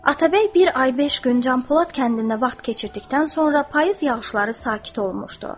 Atabəy bir ay beş gün Canpolad kəndində vaxt keçirdikdən sonra payız yağışları sakit olunmuşdu.